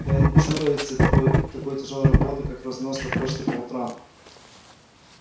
да и не чурается такой тяжёлой работы как разноска почты по утрам